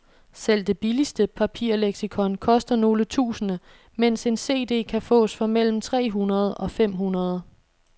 Selv det billigste papirleksikon koster nogle tusinde, mens en cd kan fås for mellem tre hundrede og fem hundrede.